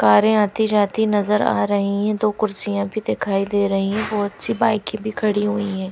कारें आती जाती नजर आ रही हैं दो कुर्सियां भी दिखाई दे रही हैं बहुत सी बाइके भी खड़ी हुई हैं--